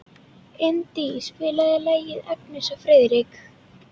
Indí, spilaðu lagið „Agnes og Friðrik“.